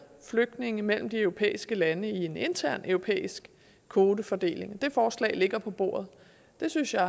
flygtninge mellem de europæiske lande i en intern europæisk kvotefordeling det forslag ligger på bordet det synes jeg